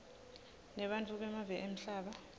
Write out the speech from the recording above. nebantfu bemave emhlaba